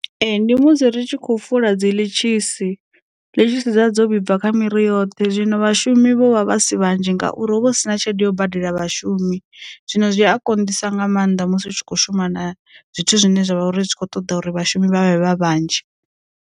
Ee ndi musi ri tshi khou fula dzi ḽitshisi, ḽitshisi dza dzo vhibva kha miri yoṱhe zwino vhashumi vho vha vha si vhanzhi ngauri hu vha hu sina tshelede ya u badela vhashumi, zwino zwi a konḓisa nga maanḓa musi u tshi kho shuma na zwithu zwine zwavha uri zwi kho ṱoḓa uri vhashumi vha vhe vha vhanzhi.